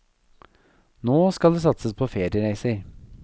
Nå skal det satses på feriereiser.